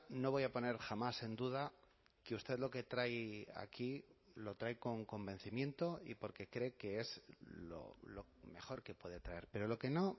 no voy a poner jamás en duda que usted lo que trae aquí lo trae con convencimiento y porque cree que es lo mejor que puede traer pero lo que no